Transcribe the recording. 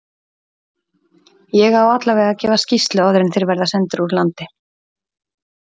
Ég á allavega að gefa skýrslu áður en þeir verða sendir úr landi.